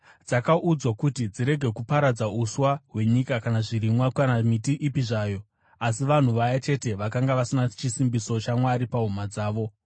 Dzakaudzwa kuti dzirege kuparadza uswa hwenyika kana zvirimwa, kana miti ipi zvayo, asi vanhu vaya chete vakanga vasina chisimbiso chaMwari pahuma dzavo.